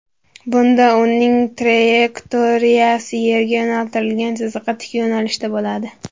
Bunda uning trayektoriyasi Yerga yo‘naltirilgan chiziqqa tik yo‘nalishda bo‘ladi.